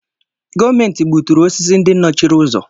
Gọọmenti gbuturu osisi ndị nọchiri ụzọ.